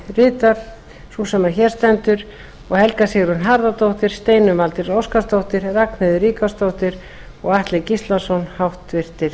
nefndarálitið rita sú sem hér stendur og helga sigrún harðardóttir steinunn valdís óskarsdóttir ragnheiður ríkharðsdóttir og atli gíslason háttvirtir